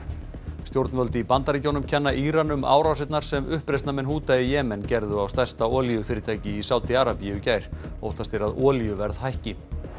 stjórnvöld í Bandaríkjnum kenna Íran um árásinar sem uppreisnarmenn í Jemen gerðu á stærsta olíufyrirtæki Sádi Arabíu í gær óttast er að olíuverð hækki